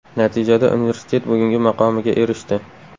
Natijada universitet bugungi maqomiga erishdi.